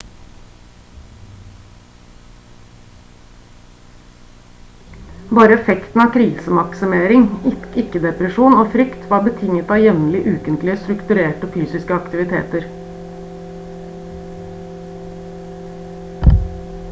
bare effekten av krisemaksimering ikke depresjon og frykt var betinget av jevnlige ukentlige strukturerte fysiske aktiviteter